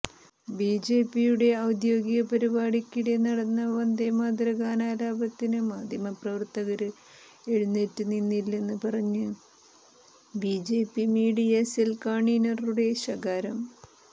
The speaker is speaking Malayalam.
ബിജെപിയുടെ ഔദ്യോഗിക പരിപാടിക്കിടെ നടന്ന വന്ദേമാതര ഗാനാലാപനത്തിന് മാധ്യമപ്രവര്ത്തകര് എഴുന്നേറ്റ് നിന്നില്ലെന്ന് പറഞ്ഞ് ബിജെപി മീഡിയ സെല് കണ്വീനറുടെ ശകാരം